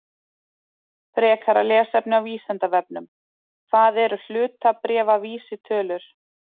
Frekara lesefni á Vísindavefnum: Hvað eru hlutabréfavísitölur?